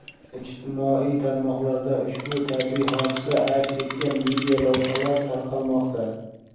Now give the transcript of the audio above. Ijtimoiy tarmoqlarda ushbu tabiiy hodisa aks etgan videolavhalar tarqalmoqda.